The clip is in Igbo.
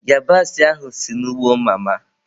Yabasị ahụ si n'ugbo mama.